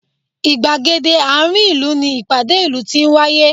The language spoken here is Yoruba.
Ìgbègéde àárín ìlú ni ìpàdé ìlú ti ń wáyé